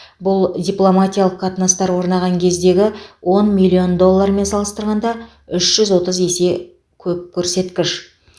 бұл дипломатиялық қатынастар орнаған кездегі он миллион доллармен салыстырғанда үш жүз отыз есе көп көрсеткіш